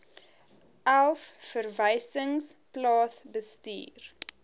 elf verwysings plaasbestuur